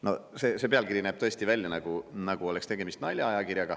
No see pealkiri näeb tõesti välja, nagu oleks see ilmunud mingis naljaajakirjas.